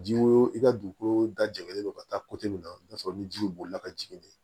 Ji wo i ka dugukolo da jɛlen don ka taa min na i bi t'a sɔrɔ ni ji bolila ka jigin de